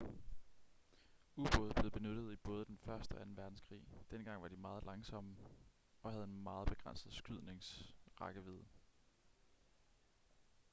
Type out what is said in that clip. ubåde blev benyttet i både den første og anden verdenskrig dengang var de meget langsomme og havde en meget begrænset skydnings rækkevidde